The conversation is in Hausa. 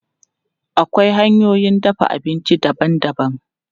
Akwai hanyoyin dafa abinci daban-daban.